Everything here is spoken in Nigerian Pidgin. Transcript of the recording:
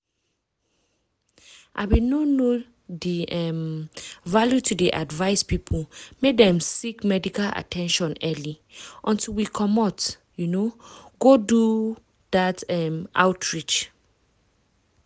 i bin no know di um value to dey advise people make dem seek medical at ten tion early until we commot um go do um outreach.